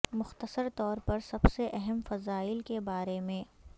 مختصر طور پر سب سے اہم فضائل کے بارے میں